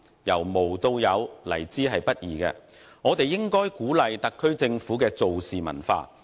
由無到有，來之不易，我們應該鼓勵特區政府的"做事"文化。